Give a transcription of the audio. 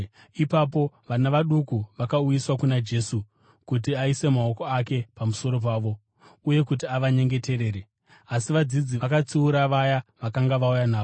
Ipapo vana vaduku vakauyiswa kuna Jesu kuti aise maoko ake pamusoro pavo, uye kuti avanyengeterere. Asi vadzidzi vakatsiura vaya vakanga vauya navo.